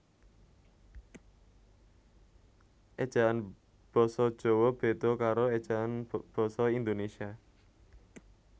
Ejaan Basa Jawa beda karo ejaan basa Indonesia